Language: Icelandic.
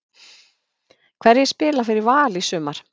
Hverjir spila fyrir Val í sumar?